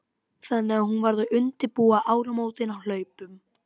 Þannig að hún varð að undirbúa áramótin á hlaupum.